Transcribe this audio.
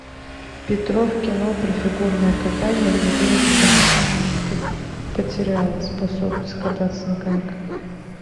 петров кино про фигурное катание где девочка потеряла способность кататься на коньках